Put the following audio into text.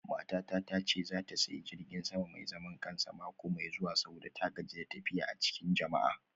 Matata ta ce za ta sayi jirgin sama mai zaman kansa mako mai zuwa saboda ta gaji da tafiya a cikin jama'a.